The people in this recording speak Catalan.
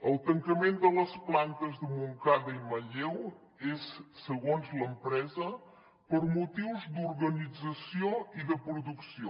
el tancament de les plantes de montcada i manlleu és segons l’empresa per motius d’organització i de producció